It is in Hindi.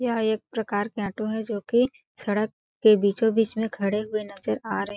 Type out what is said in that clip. यह एक प्रकार के आटो है जो कि सड़क के बीचो-बीच में खड़े हुए नजर आ रहे हैं।